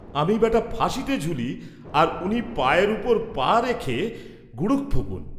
আমি বেটা ফাঁসিতে ঝুলি আর উনি পায়ের উপর পা রেখে গুড়ুক ফুঁকুন!